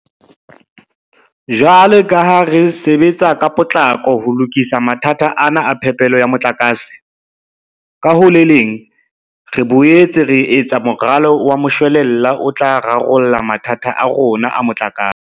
Jwalo ka ha re sebetsa ka potlako ho lokisa mathata ana a phepelo ya motlakase, ka ho le leng re boetse re etsa moralo wa moshwelella o tla rarolla mathata a rona a motlakase.